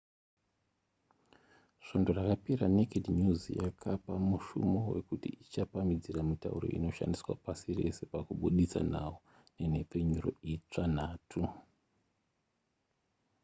svondo rakapera naked news yakapa mushumo wekuti ichapamhidzira mitauro inoshandiswa pasi rese pakubuditsa nhau nenhepfenyuro itsva nhatu